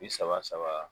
Bi saba saba